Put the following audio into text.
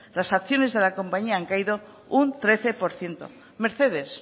las acciones de la compañía han caído un trece por ciento mercedes